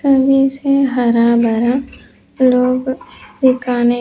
सभी से हरा भरा लोग दिखाने --